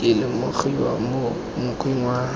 di lemogiwa mo mokgweng wa